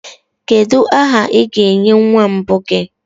kedu aha ị ga-enye nwa mbụ gị